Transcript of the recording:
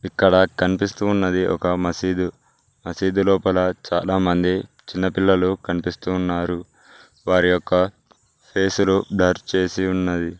ఇక్కడ కనిపిస్తూ ఉన్నది ఒక మసీదు మసీదు లోపల చాలామంది చిన్నపిల్లలు కనిపిస్తు ఉన్నారు వారి యొక్క ఫేసులో బ్లర్ చేసి ఉన్నది.